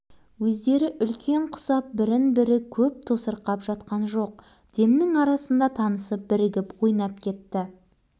жаңа үйдің жаны толған қызық оларға әдетте жаңа үйдің кем-кетігі болмай тұрмайды айталық пәтерге электр қуаты